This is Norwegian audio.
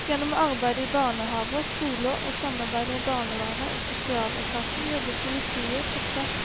Gjennom arbeid i barnehaver, skoler og samarbeid med barnevernet og sosialetaten jobber politiet på tvers